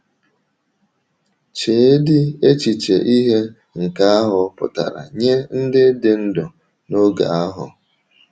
Cheedị echiche ihe nke ahụ pụtara nye ndị dị ndụ n’oge ahụ!